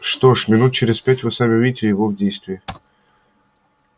что ж минут через пять вы сами увидите его в действии